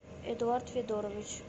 эдуард федорович